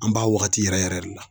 An b'a wagati yɛrɛ yɛrɛ de la.